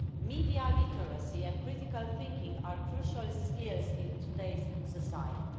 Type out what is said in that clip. Media literacy and critical thinking are crucial skills in today's society.